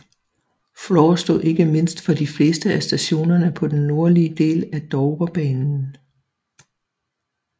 Flor stod ikke mindst for de fleste af stationerne på den nordlige del af Dovrebanen